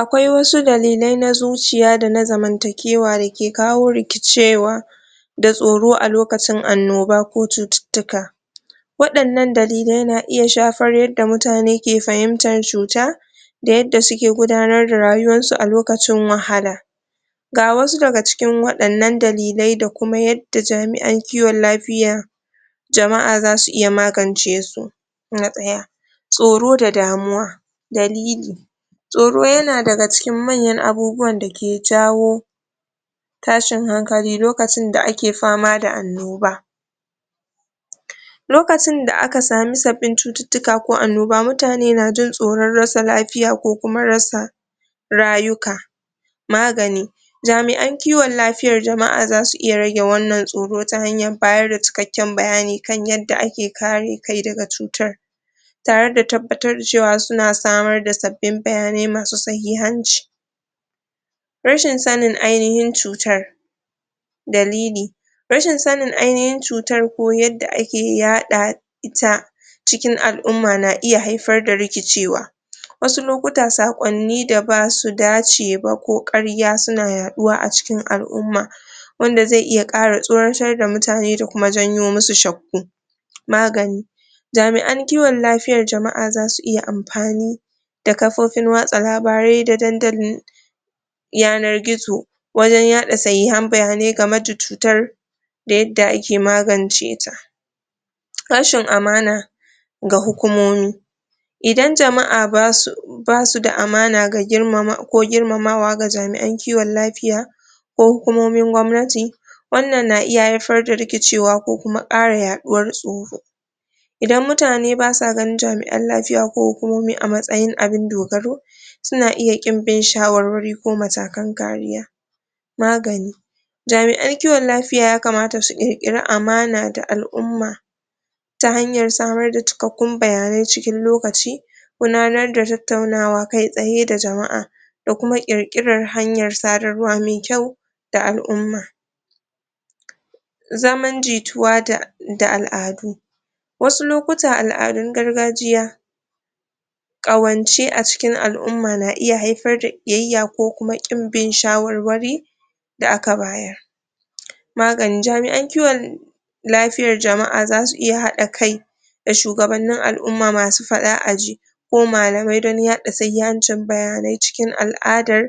Akwai wasu dalillai na zuciya da na zamantakewa da ke kawo rikicewa da tsoro a lokacin annoba ko cututtuka waɗannan dalilai na iya shafar yadda mutane ke fahimtan cuta da yadda suke gudanar da rayuwansu a lokacin wahala ga wasu daga cikin waɗannan dalilai da kuma yadda jami'an kiwon lafiya jama'a za su iya magance su na ɗaya tsoro da damuwa dalili tsoro yana daga cikin manyan abubuwan da ke jawo tashin hankali lokacin da ake fama da annoba lokacin da aka samu sabbin cututtuka ko anoba mutane na jin tsoron rasa lafiya ko rasa rayuwaka magani jami'an kiwon lafiya jama'a za su iya rage wannan tsoron ta hanyar bayar da cikakken bayani kan yadda ake kare kai daga cutar tare da tabbatar da cewa suna samar da sabbin bayanai masu sahihanci rashin sanin ainihin cutar dalili rashin sanin ainihin cutar ko yadda ake yaɗa ita cikin al'umma na iya haifar rikicewa wasu lokuta saƙonni da basu dace ba ko ƙarya suna yaɗuwa a cikin al'umma wanda zai iya ƙara tsoratar da mutane da kuma janyo musu shakku magani jami'an kiwon lafiyan jama'a za su iya amfani ta kafofin watsa labarai da dandali yanar gizo wajen yaɗa sahihan bayanai game cutar yadda ake magance ta rashin amana ga hukumomi idan jama'a ba su da amana ko girmamawa ga jami'an kiwon lafiya ko hukumomin gwamnati wannan na iya haifar da rikicewa ko kuma ƙara yaɗuwar tsoro idan mutane basu ganin jami'an lafiya ko hukumomi a matsayin abun dogari suna iya ƙin bin shawarwari ko matakan kariya magani, jami'an kiwon lafiya yakamata su ƙirƙiri amana ga al'umma ta hanyar samar da cikakkun bayanai cikin lokaci gudanar tattaunawa kai tsaye da jama'a da kuma ƙirƙirar hanyar sadarwaa mai kyau ga al'umma zaman jituwa da al'adu, wasu lokuta al'adun gargajiya ƙawance a cikin al'umma na iya haifar da ƙiyayya ko kuma ƙin bin shawarwari da aka bayar, maganin jami'an kiwon lafiyar jama'a za su iya haɗa kai da shugabannin al'umma masu faɗa a ji ko malamai don yaɗa sahihancin bayanai cikin al'adar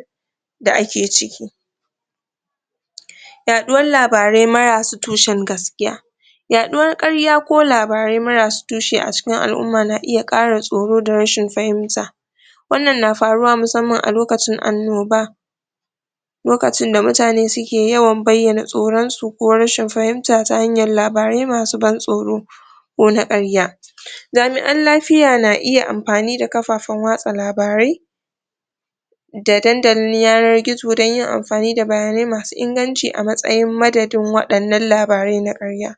da ake ciki yaɗuwan labarai marasa tushen gaskiya yaɗuwan ƙarya ko labarai marasa tushe a cikin al'umma na iya ƙara tsoro da rashin fahimta wannan na faruwa musamman a loakcin annoba lokacin da mutane su ke yawan bayyna tsoron su koo rashin fahimta ta hanyar labarai masu ban tsoro ko na ƙarya, jami'an lafiya na iya amfani kafafan watsa labarai da dandalin yanar gizo don yin amfani da bayanai masu inganci a matsayin madadin waɗannan labarai na ƙarya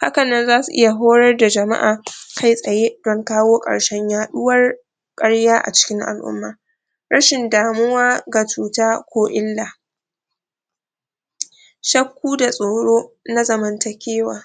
haka nan zasu iya horar da jama'a kai tsaye don kawo ƙarshen yaɗuwar ƙarya a cikin al'umma, rashin damuwa ga cuta ko illa shakku da tsoro na zamantakewa